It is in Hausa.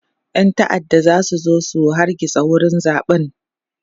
ƴan ta'adda zasu zo su hargitsa wurin zaɓen